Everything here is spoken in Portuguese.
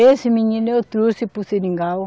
Esse menino eu trouxe para o Seringal.